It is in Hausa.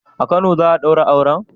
A Kano za'a daura auren?